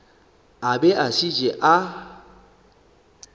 a be a šetše a